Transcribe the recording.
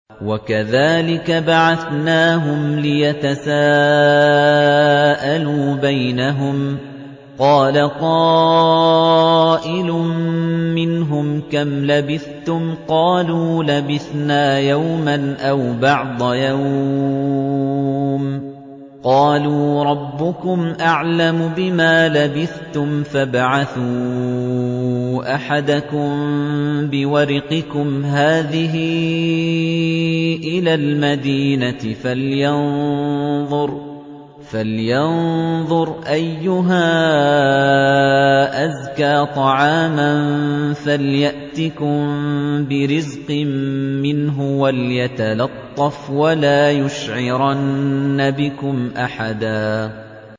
وَكَذَٰلِكَ بَعَثْنَاهُمْ لِيَتَسَاءَلُوا بَيْنَهُمْ ۚ قَالَ قَائِلٌ مِّنْهُمْ كَمْ لَبِثْتُمْ ۖ قَالُوا لَبِثْنَا يَوْمًا أَوْ بَعْضَ يَوْمٍ ۚ قَالُوا رَبُّكُمْ أَعْلَمُ بِمَا لَبِثْتُمْ فَابْعَثُوا أَحَدَكُم بِوَرِقِكُمْ هَٰذِهِ إِلَى الْمَدِينَةِ فَلْيَنظُرْ أَيُّهَا أَزْكَىٰ طَعَامًا فَلْيَأْتِكُم بِرِزْقٍ مِّنْهُ وَلْيَتَلَطَّفْ وَلَا يُشْعِرَنَّ بِكُمْ أَحَدًا